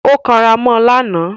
Ó kanra mọ́ lánàá